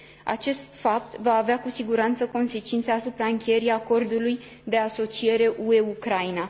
Acest fapt va avea cu siguranță consecințe asupra încheierii acordului de asociere UE Ucraina.